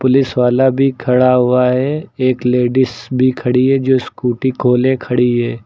Police वाला भी खड़ा हुआ है एक लेडिस भी खड़ी है जो स्कूटी को ले खड़ी है।